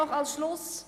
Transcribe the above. Zum Schluss: